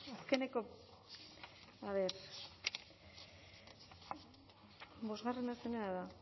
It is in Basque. azkeneko a ver bosgarrena zerena da